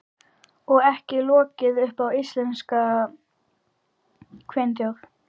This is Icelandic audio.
Og ekki logið upp á íslenska kvenþjóð.